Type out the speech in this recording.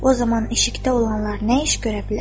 O zaman eşikdə olanlar nə iş görə bilər?